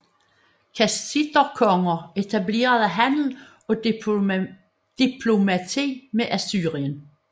Kassiterkonger etablerede handel og diplomati med Assyrien